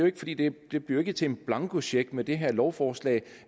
ikke fordi det det bliver til en blankocheck med det her lovforslag